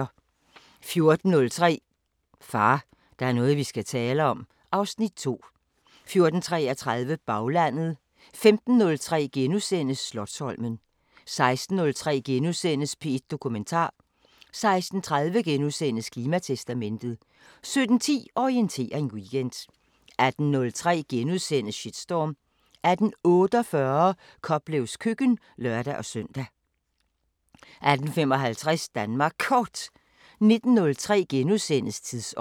14:03: Far, der er noget vi skal tale om (Afs. 2) 14:33: Baglandet 15:03: Slotsholmen * 16:03: P1 Dokumentar * 16:30: Klimatestamentet * 17:10: Orientering Weekend 18:03: Shitstorm * 18:48: Koplevs køkken (lør-søn) 18:55: Danmark Kort 19:03: Tidsånd *